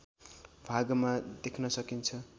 भागमा देख्न सकिन्छ